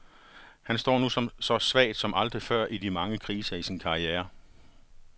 Han står nu så svagt som aldrig før i de mange kriser i sin karriere.